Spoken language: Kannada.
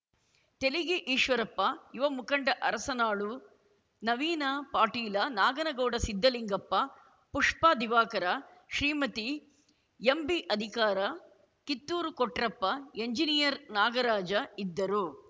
ತೆಲಿಗಿ ಈಶ್ವರಪ್ಪ ಯುವ ಮುಖಂಡ ಅರಸನಾಳು ನವೀನ ಪಾಟೀಲ ನಾಗನಗೌಡ ಸಿದ್ಧಲಿಂಗಪ್ಪ ಪುಷ್ಪ ದಿವಾಕರ ಶ್ರೀಮತಿ ಎಂಬಿ ಅಧಿಕಾರ ಕಿತ್ತೂರು ಕೊಟ್ರಪ್ಪ ಎಂಜಿನಿಯರ್‌ ನಾಗರಾಜ ಇದ್ದರು